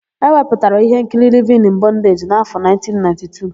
E wepụtara íhénkiri Livin ịn Bọndeji n'áfọ̀1992.